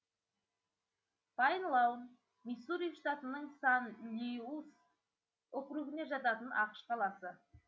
пайн лаун миссури штатының сант луис округіне жататын ақш қаласы